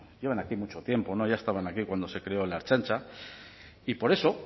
llevan aquí mucho tiempo ya estaban aquí cuando se creó la ertzaintza y por eso